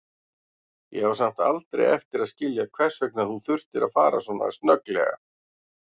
Ég á samt aldrei eftir að skilja hvers vegna þú þurftir að fara svona snögglega.